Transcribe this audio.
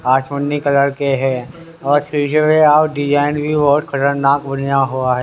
आठ ऊनी कलर के हैं और शीशे पे